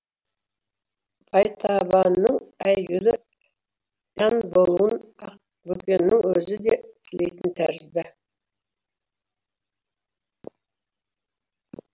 байтабынның әйгілі жан болуын ақбөкеннің өзі де тілейтін тәрізді